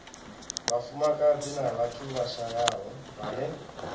vhafumakadzi na vhathu vhashayaho vhane